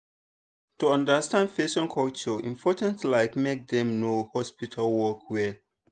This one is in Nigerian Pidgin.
to understand person culture important like make dem know hospital work well.